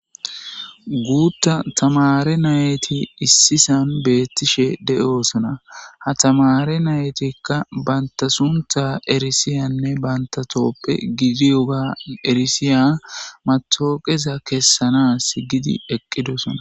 Guuta tamare nati issisan betishe de'osona . Ha tamare naytika bantaso suntha erisuyane banta tophiye eresiya matoqeza kesanas eqidosona.